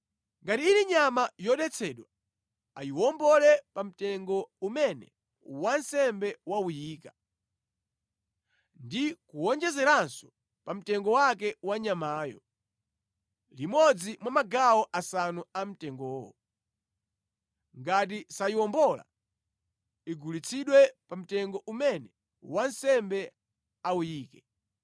Ngati ili nyama yodetsedwa, ayiwombole pa mtengo umene wansembe wawuyika, ndi kuwonjezeranso pa mtengo wake wa nyamayo, limodzi mwa magawo asanu amtengowo. Ngati sayiwombola, igulitsidwe pa mtengo umene wansembe awuyike.